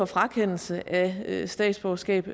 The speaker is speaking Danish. frakendelse af statsborgerskab